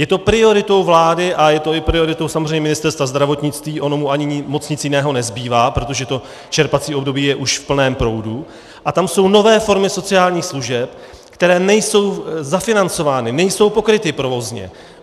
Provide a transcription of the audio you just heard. Je to prioritou vlády a je to i prioritou samozřejmě Ministerstva zdravotnictví, ono mu ani moc nic jiného nezbývá, protože to čerpací období je už v plném proudu, a tam jsou nové formy sociálních služeb, které nejsou zafinancovány, nejsou pokryty provozně.